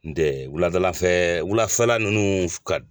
N'u tɛ wuladalafɛ wulafɛla ninnu ka